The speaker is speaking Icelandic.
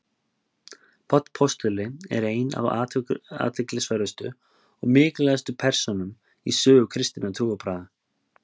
páll postuli er ein af athyglisverðustu og mikilvægustu persónum í sögu kristinna trúarbragða